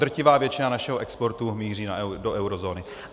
Drtivá většina našeho exportu míří do eurozóny.